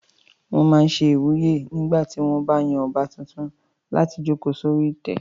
Wọ́n máa n ṣe ìwúyè nígbà tí wọ́n bá yan ọba tuntun láti jòkó sórí ìtẹ́